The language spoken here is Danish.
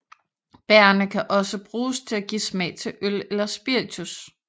Bærrene kan også bruges til at give smag til øl eller spiritus